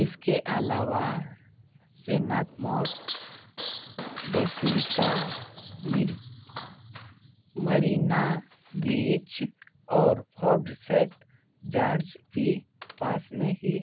इसके अलावा Santhome basilica Marina beach और फोर्ट सेंट जॉर्ज भी पास में ही